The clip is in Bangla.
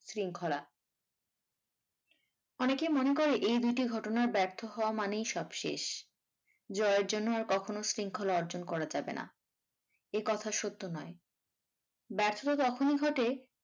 শৃঙ্খলা অনেকেই মনে করে এই দুটি ঘটনার ব্যর্থ হওয়া মানেই সব শেষ জয়ের জন্য আর কখনো শৃঙ্খলা অর্জন করা যাবে না এ কথা সত্য নয় ব্যর্থতা তখনই ঘটে।